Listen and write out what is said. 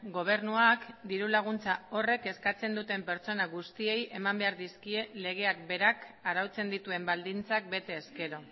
gobernuak diru laguntza horrek eskatzen duten pertsona guztiei eman behar dizkie legeak berak arautzen dituen baldintzak bete ezkero